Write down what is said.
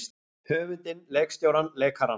Höfundinn leikstjórann leikarana?